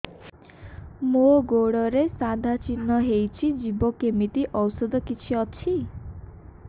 ମୋ ଗୁଡ଼ରେ ସାଧା ଚିହ୍ନ ହେଇଚି ଯିବ କେମିତି ଔଷଧ କିଛି ଅଛି